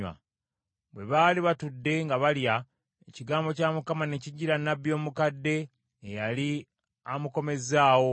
Bwe baali batudde nga balya, ekigambo kya Mukama ne kijjira nnabbi omukadde eyali amukomezzaawo.